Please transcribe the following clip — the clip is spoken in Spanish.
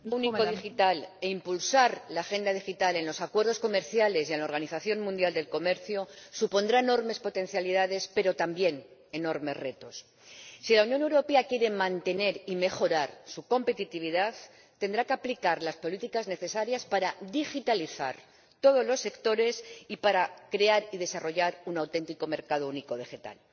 Señora Presidenta, desarrollar el mercado único digital e impulsar la Agenda Digital en los acuerdos comerciales y en la Organización Mundial del Comercio supondrán enormes potencialidades pero también enormes retos. Si la Unión Europea quiere mantener y mejorar su competitividad, tendrá que aplicar las políticas necesarias para digitalizar todos los sectores y para crear y desarrollar un auténtico mercado único digital.